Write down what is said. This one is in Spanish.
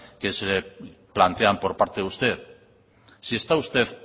que se plantean por parte de usted si está usted